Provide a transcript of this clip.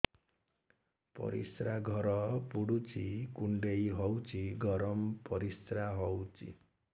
ପରିସ୍ରା ଘର ପୁଡୁଚି କୁଣ୍ଡେଇ ହଉଚି ଗରମ ପରିସ୍ରା ହଉଚି